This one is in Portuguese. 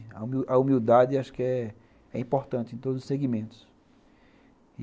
A humildade acho que é importante em todos os segmentos.